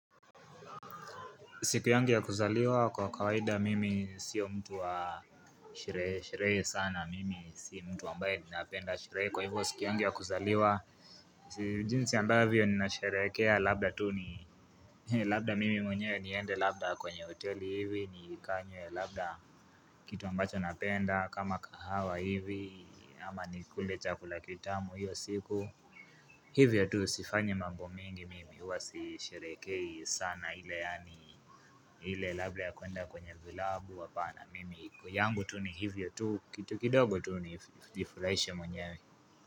Siku yangi ya kuzaliwa kwa kawaida mimi sio mtu wa sherehe sherehe sana mimi si mtu ambaye ninapenda sherehe kwa hivyo siku yangi ya kuzaliwa sijinsi ambavyo ninashereekea labda tu ni labda mimi mwenye niende labda kwenye hoteli hivi ni kanywe labda kitu ambacho napenda kama kahawa hivi ama nikule chakula kitamu hiyo siku. Hivyo tu sifanyi mambo mingi mimi huwasisherekei sana ile yaani ile labda ya kuenda kwenye vilabu hapana. Mimi yangu tu ni hivyo tu. Kitu kidogo tu ni jifuraishe mwenye.